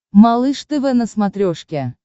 малыш тв на смотрешке